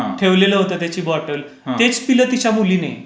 ठेवलेलं होतं त्याची बोटल. हा. तेच पिलं तिच्या मुलीने.